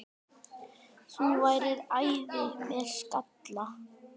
Þú værir æði með skalla!